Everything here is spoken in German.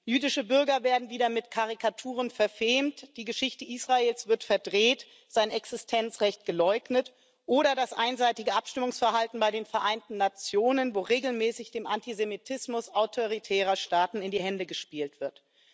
Jüdische Bürger werden wieder mit Karikaturen verfemt, die Geschichte Israels wird verdreht, sein Existenzrecht geleugnet oder das einseitige Abstimmungsverhalten bei den Vereinten Nationen, wo regelmäßig dem Antisemitismus autoritärer Staaten in die Hände gespielt wird.